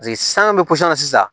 san bɛ na sisan